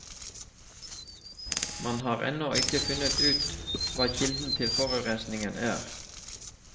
Man har ennå ikke funnet ut hva kilden til forurensingen er.